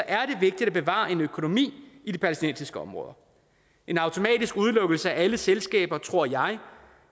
er det vigtigt at bevare en økonomi i de palæstinensiske områder en automatisk udelukkelse af alle selskaber tror jeg